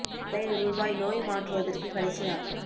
பழைய ரூபாய் நோய் மாற்றுவதற்கு கடைசி நாள்